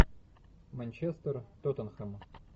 манчестер тоттенхэм